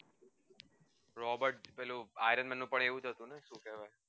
robert પેલું ironman નું પણ આવું જ હતું